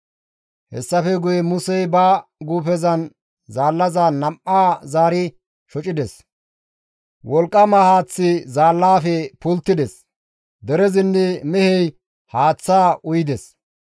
Hessafe guye Musey ba guufezan zaallaza nam7aa zaari shocides; wolqqama haaththi zaallafe pulttides; derezinne mehey haaththaa uyides.